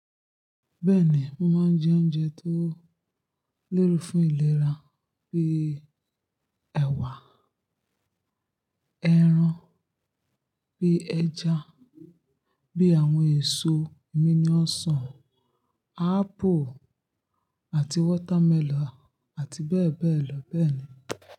Bẹ́ẹ̀ni, mo máa ń jẹ oúnjẹ tó léwu fún ìlera bíi ẹwà, ẹran bíi ẹja, bí àwọn èso mí ní ọ̀sán, apple àti watermelon àti bẹ́ẹ̀ bẹ́ẹ̀ lọ bẹ́ẹ̀ ni.